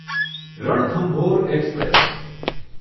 Ranthambore express